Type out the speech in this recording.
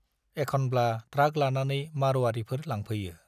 एखनब्ला ट्राक लानानै मार'वारिफोर लांफैयो।